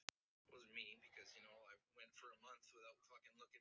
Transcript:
Hvernig sem á því stóð, þá hitti ég hana aldrei